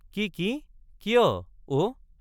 কি—কি—কিয়—অ।